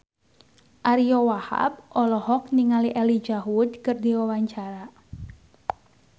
Ariyo Wahab olohok ningali Elijah Wood keur diwawancara